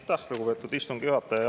Aitäh, lugupeetud istungi juhataja!